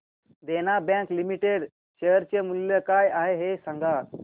देना bank limited share चे मूल्य काय आहे हे सांगा